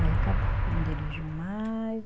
Aí acabou, não dirigiu mais.